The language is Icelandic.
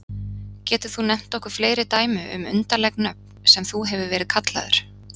Getur þú nefnt okkur fleiri dæmi um undarleg nöfn sem þú hefur verið kallaður?